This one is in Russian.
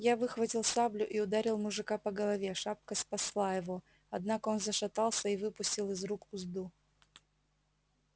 я выхватил саблю и ударил мужика по голове шапка спасла его однако он зашатался и выпустил из рук узду